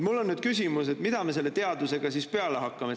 Mul on nüüd küsimus, mida me selle teadusega siis peale hakkame.